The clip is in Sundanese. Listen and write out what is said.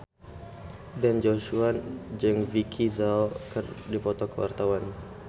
Ben Joshua jeung Vicki Zao keur dipoto ku wartawan